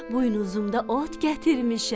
Buynuzumda ot gətirmişəm.